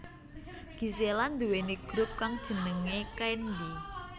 Gisela nduwèni grup kang jenengé Candy